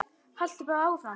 Haltu bara áfram.